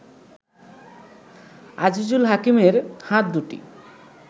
আজিজুল হাকিমের হাত দুটি